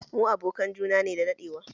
Mu abokan juna ne da daɗewa